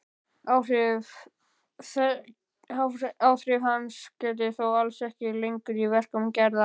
Áhrifa hans gætir þó alls ekki lengur í verkum Gerðar.